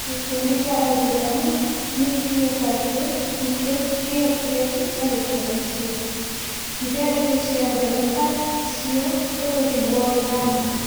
Gĩkundi kĩa aithĩramu nĩ kĩugĩte atĩ nĩkĩo gĩekire tharĩkĩro icio, iria irĩ cia mbere ta icio bũrũri-inĩ wa Iran.